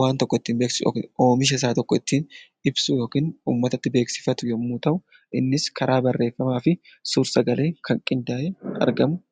waan tokko ittiin beeksisu yookiin oomisha isaa tokko uummatatti ittiin ibsu yookiin beeksifatu yommuu ta'u, innis karaa barreeffamaa fi sagaleen qindaa'ee kan argamudha.